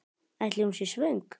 Ætli hún sé svöng?